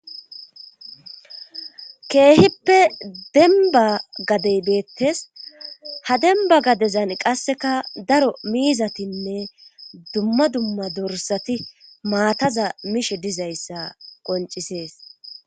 keehippe demba gadey deettes ha demba gadezan qasseka daro miizatinne dumma dumma dorsati maataza mishe dizayssa qoncisees